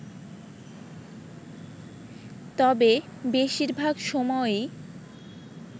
তবে বেশিরভাগ সময়ই